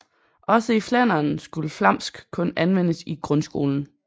Også i Flandern skulle flamsk kun anvendes i grundskolen